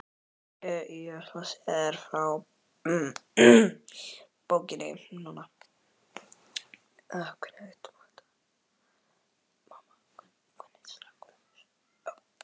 Ég ætla að segja þér frá bókinni núna.